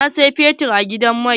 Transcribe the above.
Na siyi fetur a gidan mai.